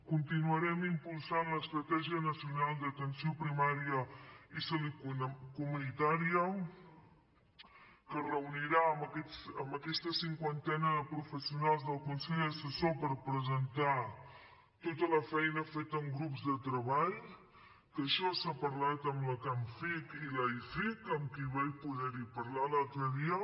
continuarem impulsant l’estratègia nacional d’atenció primària i salut comunitària que es reunirà amb aquesta cinquantena de professionals del consell assessor per presentar tota la feina feta en grups de treball que això s’ha parlat amb la camfic i l’aificc amb qui vaig poder parlar l’altre dia